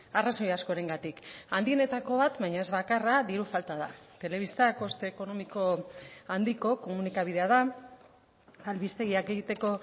arrazoi askorengatik handienetako bat baina ez bakarra diru falta da telebista koste ekonomiko handiko komunikabidea da albistegiak egiteko